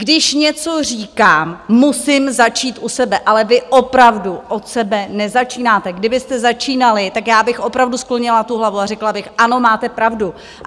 Když něco říkám, musím začít u sebe, ale vy opravdu od sebe nezačínáte, kdybyste začínali, tak já bych opravdu sklonila tu hlavu a řekla bych, ano, máte pravdu.